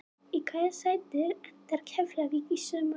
Í hvaða sæti endar Keflavík í sumar?